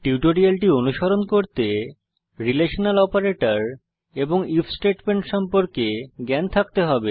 টিউটোরিয়ালটি অনুসরণ করতে রিলেশনাল অপারেটর এবং ইফ স্টেটমেন্ট সম্পর্কে জ্ঞান থাকতে হবে